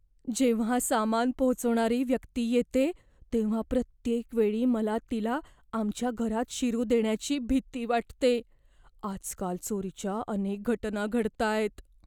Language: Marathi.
जेव्हा सामान पोहोचवणारी व्यक्ती येते, तेव्हा प्रत्येक वेळी मला तिला आमच्या घरात शिरू देण्याची भीती वाटते. आजकाल चोरीच्या अनेक घटना घडताहेत.